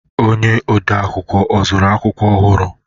Onye ọdee akwụkwọ ọ zụụrụ akwụkwọ ọhụrụ?